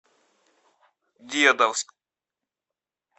дедовск